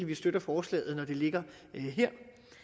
vi støtter forslaget her